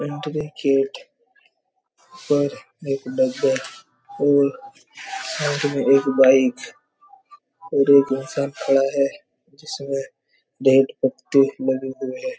एंट्रीगेट पर एक डब्बे और साथ में एक बाइक और एक इंसान खड़ा है जिसमें डेड पत्ते लगे हुए है।